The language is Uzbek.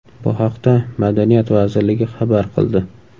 Bu haqda Madaniyat vazirligi xabar qildi .